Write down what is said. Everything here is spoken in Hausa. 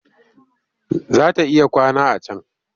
Za ta iya kwana a can